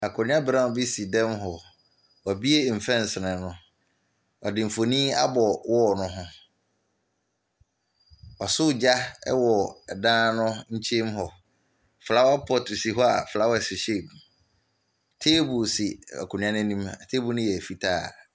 Akonnwa brown bi si dan mu hɔ. Wabue mfɛnsee no. Wɔde mfoni abɔ wall no ho. Wasɔ agya wɔ dan no nkyemu hɔ. Flower pot si hɔ a flowers hyehyɛ mu. Table si akonnwa no anim. Table no yɛ fitaa.